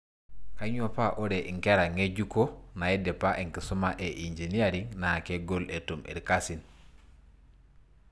Kanyioo paa ore inkera ng'ejuko naidipa enkisuma e engineering naa kegol etum irkasin